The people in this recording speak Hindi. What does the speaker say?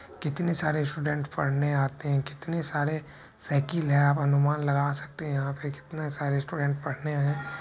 कितने सारे स्टूडेंट पढ़ने आते है कितने सारे साइकिल है आप अनुमान लगा सकते है यहाँ पे कितने सारे स्टूडेंट पढ़ने --